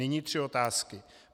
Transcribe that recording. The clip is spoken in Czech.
Nyní tři otázky.